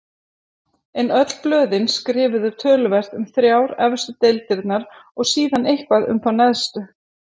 En öll blöðin skrifuðu töluvert um þrjár efstu deildirnar og síðan eitthvað um þá neðstu.